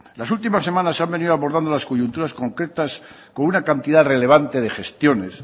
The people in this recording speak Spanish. las últimas semanas se han venido abordando las coyunturas concretas con una cantidad relevante de gestiones